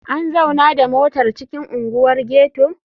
An zauna da motar a cikin unguwar ghetto?